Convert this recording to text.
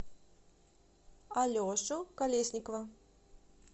алешу колесникова